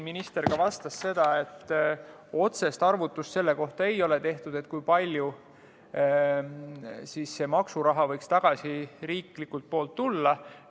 Minister vastas, et ei ole tehtud otsest arvutust selle kohta, kui palju maksuraha võiks riiklikult tagasi tulla.